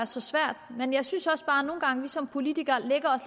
så svært men jeg synes også bare nogle gange vi som politikere